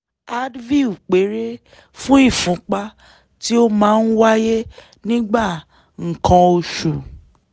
advil péré fún ìfúnpá tí ó máa ń wáyé nígbà nǹkan oṣù